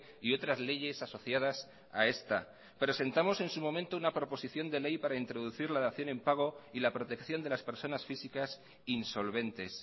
y otras leyes asociadas a esta presentamos en su momento una proposición de ley para introducir la dación en pago y la protección de las personas físicas insolventes